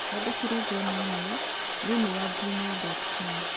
Twandĩkĩre John e-mail thĩinĩ wa gmail dot com